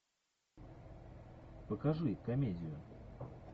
покажи комедию